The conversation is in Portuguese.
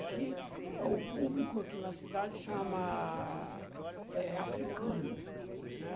Aqui, o público aqui na cidade chama, eh, africano, né?